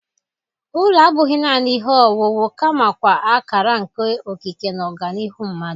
Ụlọ abụghị naanị ihe owuwu kamakwa akara nke okike na ọganihu mmadụ